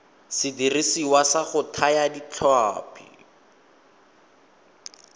sediriswa sa go thaya ditlhapi